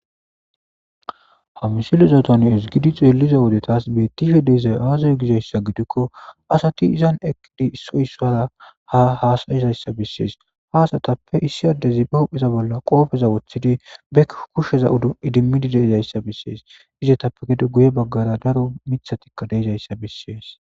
Hamsiloza ton es gidi xeeliza wode taas bettihe deezay aazay gizayssa gidikko asati izan eqqidi issoysara ha haasayizayssa bessees haasatappe issi addezi ba hupheza bolla qoofeza woththidi bek kusheza idimmidi deezayssa bessees izetappe gede guye baggara daro mithatikka deezayssa bessees.